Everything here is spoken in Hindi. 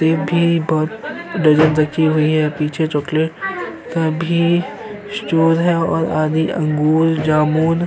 सेब की ढ़लिया रखी हुई हैं। पीछे चॉकलेट का भी स्टोर है। आगे अंगूर जामुन --